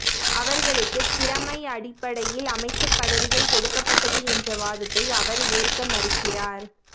அவர்களுக்குத் திறமை அடிப்படையில் அமைச்சர் பதவிகள் கொடுக்கப்பட்டது என்ற வாதத்தை அவர் ஏற்க மறுக்கிறார்